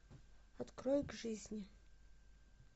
открой к жизни